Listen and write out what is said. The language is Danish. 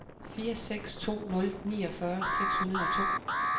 fire seks to nul niogfyrre seks hundrede og to